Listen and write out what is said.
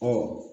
Ɔ